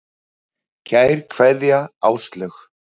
Kær kveðja, Áslaug.